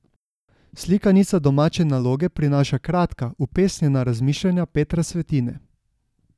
Slikanica Domače naloge prinaša kratka, upesnjena razmišljanja Petra Svetine.